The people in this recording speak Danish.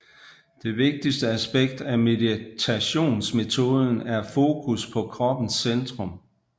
Det vigtigste aspekt af meditationsmetoden er fokus på kroppens centrum